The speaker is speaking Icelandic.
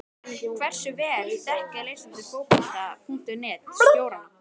En hversu vel þekkja lesendur Fótbolta.net stjórana?